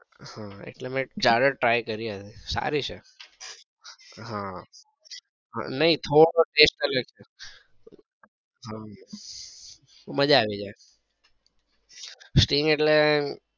હા એટલે મેં charger try કરી આજે સારી છે હમ્મ નઈ થોડો test અલગ છે હમ માજા આવી જાય string એટલે